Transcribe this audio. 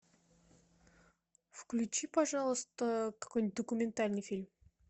включи пожалуйста какой нибудь документальный фильм